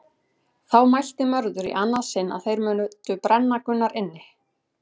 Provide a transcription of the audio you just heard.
Þá mælti Mörður í annað sinn að þeir mundu brenna Gunnar inni.